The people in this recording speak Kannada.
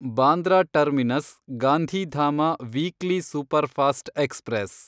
Bandra terminus Gandhidham weekly superfast express